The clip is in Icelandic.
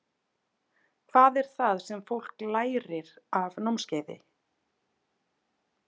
Hvað er það sem fólk lærir af námskeiðinu?